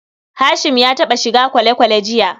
Hashim ya taɓa shiga kwale-kwale jiya.